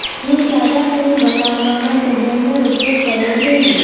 હું જાડા ફીણ બનાવવા માટે બ્લેન્ડર ઉપયોગ કરવો જોઈએ